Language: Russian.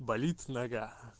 болит нога